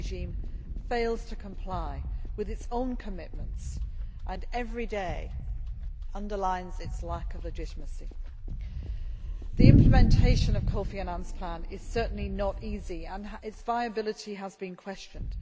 His regime fails to comply with its own commitments and every day underlines its lack of legitimacy. The implementation of Kofi Annan's plan is certainly not easy and its viability has been questioned.